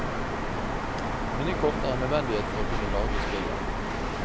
Minnekort er en nødvendighet for å kunne lagre spillet.